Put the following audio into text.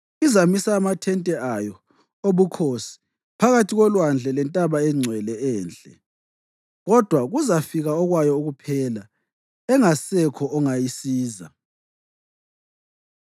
Izamisa amathente ayo obukhosi phakathi kolwandle lentaba engcwele enhle. Kodwa kuzafika okwayo ukuphela, engasekho ongayisiza.”